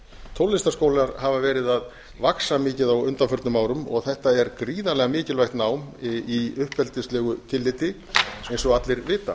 tónlistarskólar hafa verið að vaxa mikið á undanförnum árum þetta er gríðarlega mikilvægt nám í uppeldislegu tilliti eins og allir vita